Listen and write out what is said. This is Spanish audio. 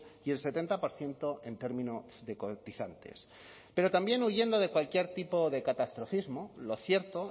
y el setenta por ciento en términos de cotizantes pero también huyendo de cualquier tipo de catastrofismo lo cierto